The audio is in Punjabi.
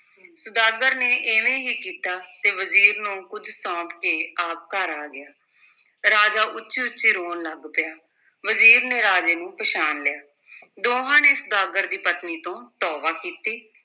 ਸੁਦਾਗਰ ਨੇ ਇਵੇਂ ਹੀ ਕੀਤਾ ਤੇ ਵਜ਼ੀਰ ਨੂੰ ਕੁੱਝ ਸੌਂਪ ਕੇ ਆਪ ਘਰ ਆ ਗਿਆ, ਰਾਜਾ ਉੱਚੀ-ਉੱਚੀ ਰੋਣ ਲੱਗ ਪਿਆ, ਵਜ਼ੀਰ ਨੇ ਰਾਜੇ ਨੂੰ ਪਛਾਣ ਲਿਆ ਦੋਹਾਂ ਨੇ ਸੁਦਾਗਰ ਦੀ ਪਤਨੀ ਤੋਂ ਤੌਬਾ ਕੀਤੀ।